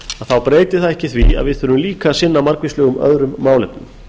þá breytir það ekki því að við þurfum líka að sinna margvíslegum öðrum málefnum